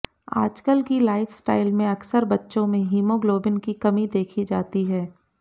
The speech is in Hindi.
आजकल की लाइफस्टाइल में अकसर बच्चों में हिमोग्लोबिन की कमी देखी जाती है